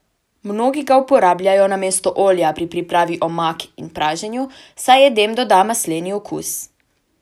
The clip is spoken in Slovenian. Mnogi ga uporabljajo namesto olja pri pripravi omak in praženju, saj jedem doda masleni okus.